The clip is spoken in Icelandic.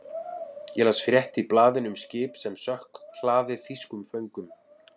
Ég las frétt í blaðinu um skip sem sökk, hlaðið þýskum föngum.